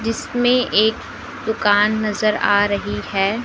जिसमें एक दुकान नजर आ रही है।